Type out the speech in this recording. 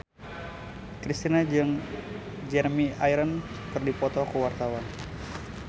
Kristina jeung Jeremy Irons keur dipoto ku wartawan